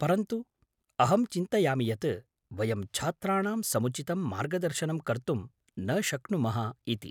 परन्तु, अहं चिन्तयामि यत् वयं छात्राणां समुचितं मार्गदर्शनं कर्तुं न शक्नुमः इति।